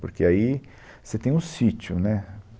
Porque aí você tem o sítio, né?